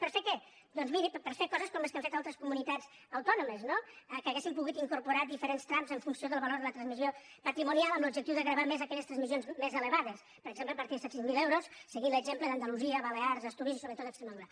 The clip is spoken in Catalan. per a fer què doncs miri per a fer coses com les que han fet altres comunitats autònomes no que haguéssim pogut incorporar diferents trams en funció del valor de la transmissió patrimonial amb l’objectiu de gravar més aquelles transmissions més elevades per exemple a partir de set cents miler euros seguint l’exemple d’andalusia balears astúries i sobretot extremadura